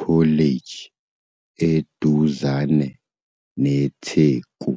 College eduzane neTheku.